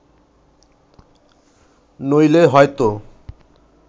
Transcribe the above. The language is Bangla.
নইলে হয়ত